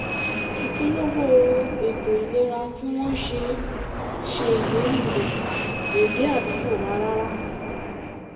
ìpolówó ètò ìlera tí wọ́n ṣe ṣe ìlérí rẹ̀ kò dé àdúgbò wa rárá